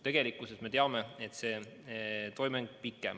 Tegelikkuses me teame, et see toime on pikem.